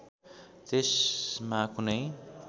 त्यसमा कुनै